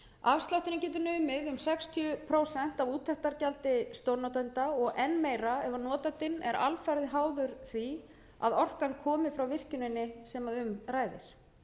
afslátturinn getur numið um sextíu prósent af úttektargjaldi stórnotenda og enn meira ef notandinn er alfarið háður því að orkan komi frá virkjuninni sem um ræðir